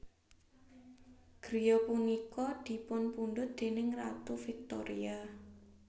Griya punika dipunpundhut déning Ratu Victoria